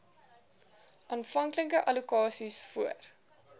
aanvanklike allokasies voor